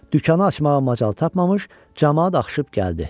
Dükanı açmağa macal tapmamış camaat axışıb gəldi.